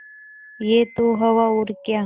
यह तो हवा और क्या